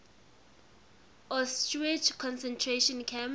auschwitz concentration camp